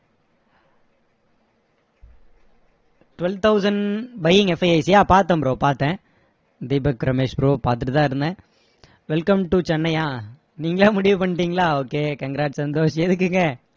twelve thousand buying பாத்தேன் bro பாத்தேன் Deepak Ramesh bro பாத்துட்டு தான் இருந்தேன் welcome to சென்னையா நீங்களா முடிவு பண்ணிட்டீங்களா okay congrats சந்தோஷ் எதுக்குங்க